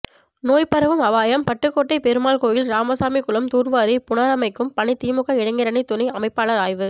நோய் பரவும் அபாயம் பட்டுக்கோட்டை பெருமாள்கோயில் ராமசாமி குளம் தூர்வாரி புனரமைக்கும் பணி திமுக இளைஞரணி துணை அமைப்பாளர் ஆய்வு